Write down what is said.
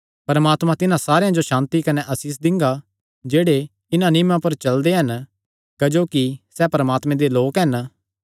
परमात्मा तिन्हां सारेयां जो सांति कने आसीष दिंगा जेह्ड़े इन्हां नियमां पर चलदे हन क्जोकि सैह़ परमात्मे दे लोक हन